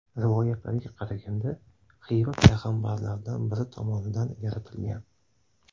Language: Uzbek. Rivoyatlarga qaraganda, Xiva payg‘ambarlardan biri tomonidan yaratilgan.